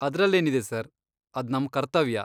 ಅದ್ರಲ್ಲೇನಿದೆ sir, ಅದ್ ನಮ್ ಕರ್ತವ್ಯ.